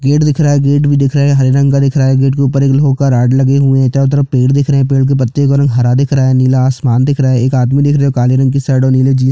gate दिख रहा है गेट भी दिख रहा है हरे रंग का दिख रहा है गेट के उपर एक लोहै का रॉड लगे हुए है चारों तरफ पेड़ दिख रहै है पेड़ के पत्तियों का रंग हरा दिख रहा है नीला आसमान दिख रहा है एक आदमी दिख रहा है काले रंग की शर्ट और नीले जीन्स --